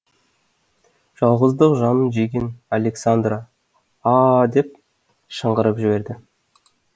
жалғыздық жанын жеген александра а а а деп шыңғырып жіберді